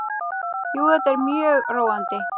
Jú, þetta er mjög róandi.